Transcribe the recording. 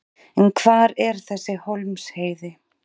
En hvar er þessi Hólmsheiði?